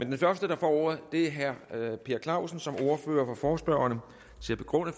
den første der får ordet er herre per clausen som ordfører for forespørgerne til at begrunde